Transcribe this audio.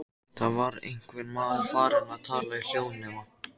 Annars verður maður eins og tötrughypjan.